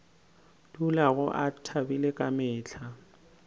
dulago a thabile ka mehla